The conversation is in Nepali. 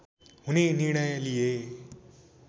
हुने निर्णय लिए